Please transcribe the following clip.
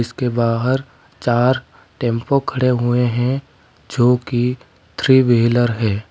इसके बाहर चार टेंपो खड़े हुए हैं जो कि थ्री व्हीलर हैं।